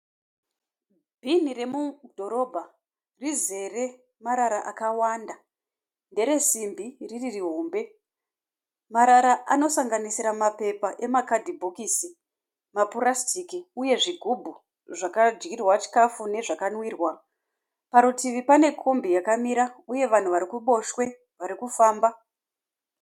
Bhinhi remudhorobha, rizere marara akawanda. Nderesimbi riri rihombe. Marara anosanganisira mapepa emakadhibhokisi, mapurasitiki uye zvigubhu zvakadyirwa chikafu nezvakanwirwa. Parutivi panekombi yakamira uye vanhu vari kuruboshwe vakamira.